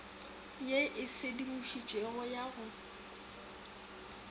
ye e sedimošitšwego ya go